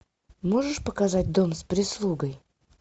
можешь показать дом с прислугой